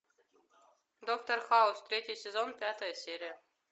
доктор хаус третий сезон пятая серия